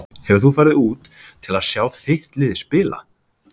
Hefur þú farið út til að sjá þitt lið spila?